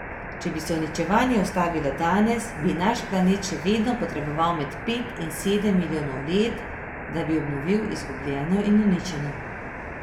Če bi se uničevanje ustavilo danes, bi naš planet še vedno potreboval med pet in sedem milijonov let, da bi obnovil izgubljeno in uničeno.